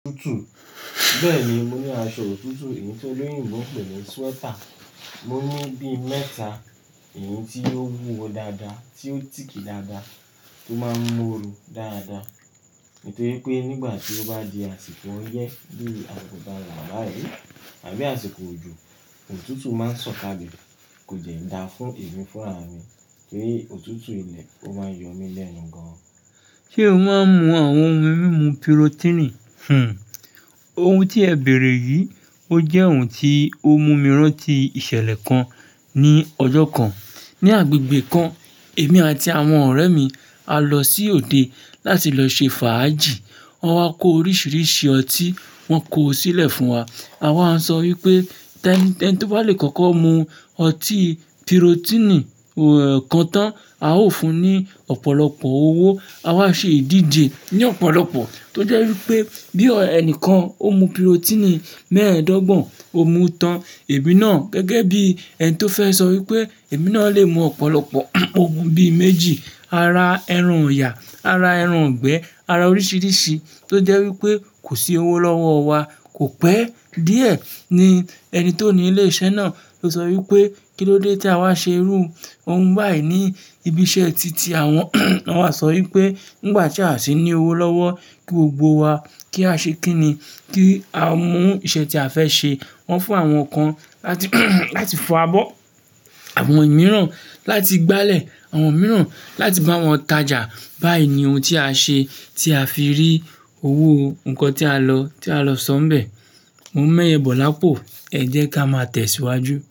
Tútù. Bẹ́ẹ̀ni, mo ní aṣọ òtútù èyí tí olóyìnbo ń pè ní sweater. Mo ní bí mẹ́ta, èyí tí ó wúwo dáadáa, tí ó tìck dáadáa, tó máa ń mú oru dáadáa. Nítorí pé nígbà tí ó bá di àsìkò ọyẹ́ bí i àsìkò tawa bayi àbí àsìkò òjò, òtútù máa ń sọ kálẹ̀. Kò dẹ́ da fún èmi fúnraà mi kí òtútù ilẹ̀ ó máa yọ mí lẹ́nu gan. Ṣé o máa ń mu àwọn ohun mímu pirotini? Hmm, ohun tí ẹ bèrè yìí, ó jẹ́ ohun tí ó mú mi rántí ìṣẹ̀lẹ̀ kan ní ọjọ́ kan. Ni agbègbè kan, èmi àti àwọn ọ̀rẹ́ mi a lọ sí òde láti lọ ṣe fàájì. Wọ́n wá kó oríṣiríṣi ọtí, wọ́n kó ó sílẹ̀ fún wa. A wá ń sọ wípé ẹni tó bá lè kọ́kọ́ mu ọtí pirotini kan tán, a ó fún un ní ọ̀pọ̀lọpọ̀ owó. A wá ṣe ìdíje ní ọ̀pọ̀lọpọ̀ tó jẹ́ wípé bí ẹni kan ó mu pirotini mẹ́ẹ̀ẹ́dọ́gbọ̀n, ó mu tán, èmi náà gẹ́gẹ́ bí ẹni tó fẹ́ sọ wípé èmi náà lè mu ọ̀pọ̀lọpọ̀ ogún bí méjì, ara ẹran òyà, ara ẹran gbẹ́, ara oríṣiríṣi tó jẹ́ wípé kò sí owó lọ́wọ́ wa. Kò pẹ́ díẹ̀ ní ẹni tó ni ilé iṣẹ́ náà ló sọ wípé kí ló dé tí a wá ṣe irú ohun báyìí ní ibi ìṣe ti tí àwọn, won wá sọ wípé nígbà tí a sì ní owó lọ́wọ́ kí ó gbó wa kí a ṣe kí ni, kí a mú iṣẹ́ tí a fẹ́ ṣe. Wọn fún àwọn kan láti fọ abọ́, àwọn mìíràn láti gbálẹ̀, àwọn mìíràn láti bá wọn tajà. Báyìí ni ohun tí a ṣe tí a fi rí owó nǹkan tí a lọ, tí a lọ sọ nbẹ. Mo ń mẹ́yẹ bọ̀lápò, ẹ jẹ́ ká máa tẹ̀síwájú.